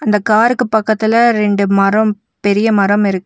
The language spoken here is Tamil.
இந்த காருக்கு பக்கத்துல ரெண்டு மரம் பெரிய மரம் இருக்கு.